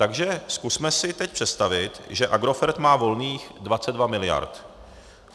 Takže zkusme si teď představit, že Agrofert má volných 22 mld.